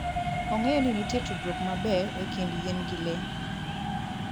Ong'eyo ni nitie tudruok maber e kind yien gi le.